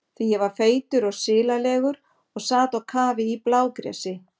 Því ég var feitur og silalegur og sat á kafi í blágresi.